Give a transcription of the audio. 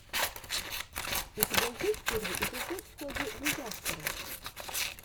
у тебя есть первый эпизод фогги дизастера